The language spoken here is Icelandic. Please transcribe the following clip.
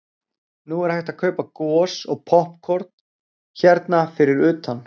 Nú er hægt að kaupa gos og poppkorn hérna fyrir utan.